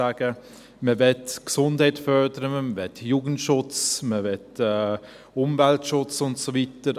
Man möchte die Gesundheit fördern, man möchte Jugendschutz, man möchte Umweltschutz und so weiter.